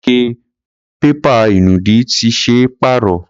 Ike pépà ìnùdí ti ṣe é pàrọ̀.